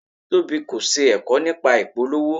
Tobi kò ṣe ẹ̀kọ́ nípa ìpolówó.